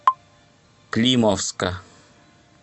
климовска